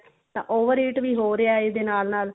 ਤੇ over eat ਵੀ ਹੋ ਰਿਹਾ ਨਾਲਾ ਨਾਲ